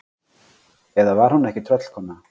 Eða var hún ekki tröllkona?